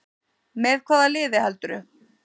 Með hvaða liði heldurðu?